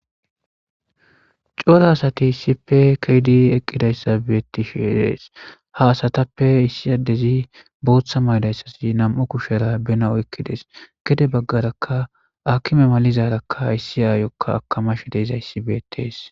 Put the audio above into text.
Cora asati issipe ke'idi eqidage beetishe de'es ha asatape issi addezi bootha mayidaysi nam'u kushera bena oykides gede bagaraka aakime malizaraka issi aayoka akamashe dizaysika beetes.